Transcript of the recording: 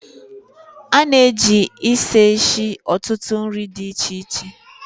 a na-eji ịsha esi ọtụtụ nri di iche iche